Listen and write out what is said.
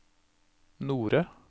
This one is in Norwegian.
Nore